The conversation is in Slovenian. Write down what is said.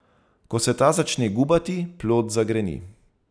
Ko se ta začne gubati, plod zagreni.